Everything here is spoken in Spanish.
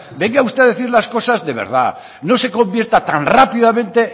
venga usted a decir las cosas de verdad no se convierta tan rápidamente